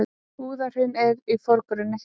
Búðahraun í forgrunni.